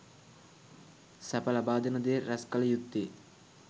සැප ලබාදෙන දේ රැස්කළ යුත්තේ